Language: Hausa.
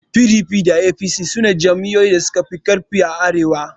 PDP da APC sune jam'iyyoyi da suka fi ƙarfi a arewa.